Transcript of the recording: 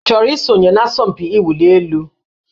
Ị chọrọ isonye n'asọmpi mwụli elu?